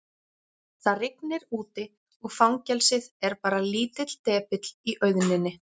Það rignir úti og fangelsið er bara lítill depill í auðninni.